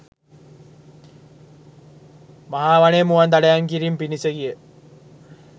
මහා වනයේ මුවන් දඩයම් කිරීම පිණිස ගිය